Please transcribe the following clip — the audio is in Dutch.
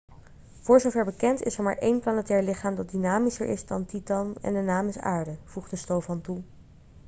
voor zover bekend is er maar één planetair lichaam dat dynamischer is dan titan en de naam is aarde' voegde stofan toe